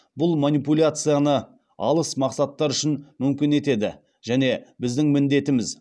бұл манипуляцияны алыс мақсаттар үшін мүмкін етеді және біздің міндетіміз